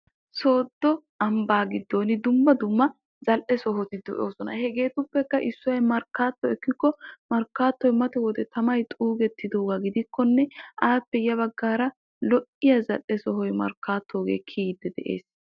sooddo ambaa giddon dumma dumma zal'e sohoti de'oosona. hegeetuppekka issoy markaatto ekkikko markkaatoy mata wode tamay xuugettidaaga gidikkonne appe ya bagaara lo'iya zal'e sohoy markkaatogee kiyoodo de.